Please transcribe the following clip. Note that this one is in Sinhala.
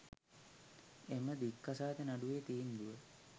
එම දික්කසාද නඩුවේ තීන්දුව